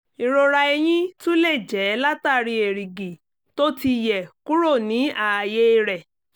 ìrora eyín tún lè jẹ́ látàri erìgì tóti yẹ̀ kúrò ní ààyè rẹ